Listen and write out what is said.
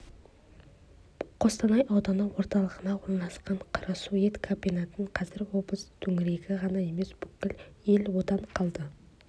қостанай ауданы орталығына орналасқан қарасу ет комбинатын қазір облыс төңірегі ғана емес бүкіл ел одан қалды